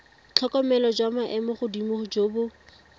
tlhokomelo jwa maemogodimo jo bo